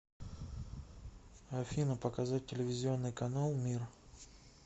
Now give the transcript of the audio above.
афина показать телевизионный канал мир